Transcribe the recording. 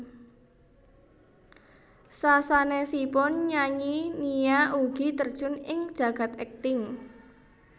Sasanesipun nyanyi Nia ugi terjun ing jagad akting